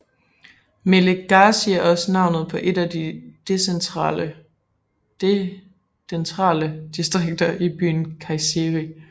Melikgazi er også navnet på et af de dentrale distrikter i byen Kayseri